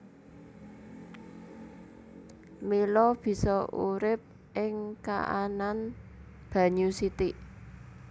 Mila bisa urip ing kaanan banyu sithik